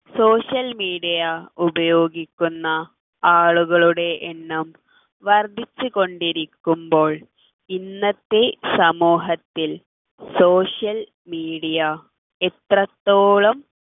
social media ഉപയോഗിക്കുന്ന ആളുകളുടെ എണ്ണം വർധിച്ചുകൊണ്ടിരിക്കുമ്പോൾ ഇന്നത്തെ സമൂഹത്തിൽ social media എത്രത്തോളം